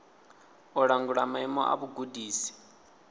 u langula maimo a vhugudisi